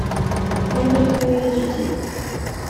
эврика эйч ди